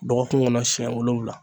Dɔgɔkun kɔnɔ siɲɛ wolonwula.